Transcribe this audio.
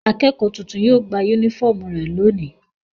Akẹ́kọ̀ọ́ tuntun yóò gba únífọ́ọ́mù rẹ̀ lónìí.